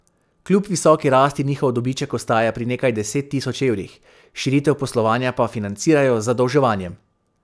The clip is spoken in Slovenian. Kljub visoki rasti njihov dobiček ostaja pri nekaj deset tisoč evrih, širitev poslovanja pa financirajo z zadolževanjem.